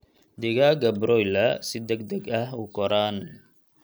Digaagga broiler si degdeg ah u koraan.